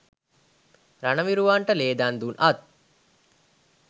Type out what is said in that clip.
රණවිරුවන්ට ලේ දන් දුන් අත්